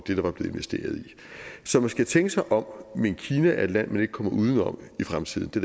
det der var blevet investeret i så man skal tænke sig om men kina er et land man ikke kommer uden om i fremtiden det